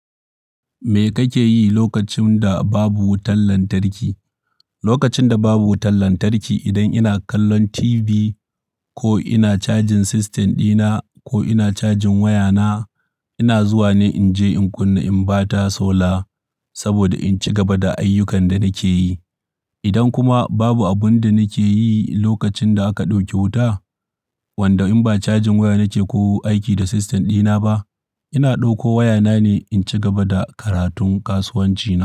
Me kake yi lokacin da babu wutan lantarki? Lokacin da babu wutan lantarki, idan ina kallon TV ko ina cajin system dina ko ina cajin wayana, ina zuwa ne in je in kunna inverter solar saboda in ci gaba da ayyukan da nake yi. Idan kuma babu abin da nake yi lokacin da aka ɗauke wuta, wanda in ba cajin waya nake ko aiki da system dina ba, ina ɗauko wayana ne in ci gaba da karatun kasuwanci na.